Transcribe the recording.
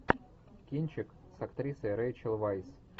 кинчик с актрисой рэйчел вайс